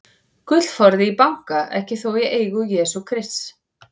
Gullforði í banka, ekki þó í eigu Jesú Krists.